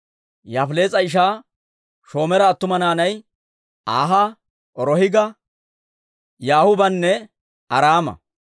Yaafilees'a ishaa Shomeera attuma naanay Aaha, Rohiga, Yahuubanne Araama.